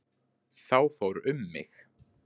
Þá fór um mig.